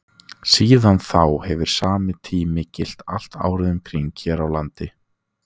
Síðan þá hefur sami tími gilt allt árið um kring hér á landi.